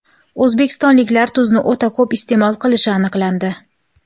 O‘zbekistonliklar tuzni o‘ta ko‘p iste’mol qilishi aniqlandi.